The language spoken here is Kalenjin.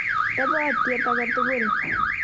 Tobotiet age tugul.